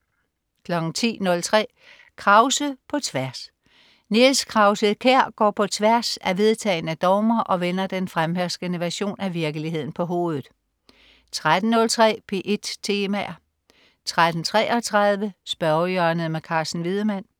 10.03 Krause på tværs. Niels Krause-Kjær går på tværs af vedtagne dogmer og vender den fremherskende version af virkeligheden på hovedet 13.03 P1 Temaer 13.33 Spørgehjørnet. Carsten Wiedemann